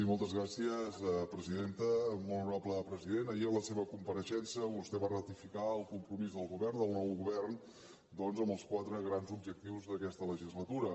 molt honorable president ahir a la seva compareixença vostè va ratificar el compromís del govern del nou govern doncs amb els quatre grans objectius d’aquesta legislatura